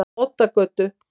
Oddagötu